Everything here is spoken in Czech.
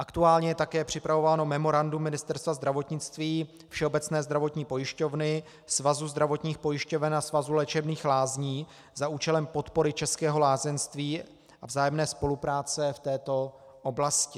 Aktuálně je také připravováno memorandum Ministerstva zdravotnictví, Všeobecné zdravotní pojišťovny, Svazu zdravotních pojišťoven a Svazu léčebných lázní za účelem podpory českého lázeňství a vzájemné spolupráce v této oblasti.